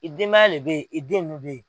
I denbaya de bɛ yen i den nu bɛ yen.